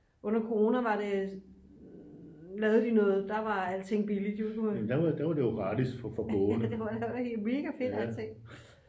under corona var det der var alting billigt det var mega fedt alting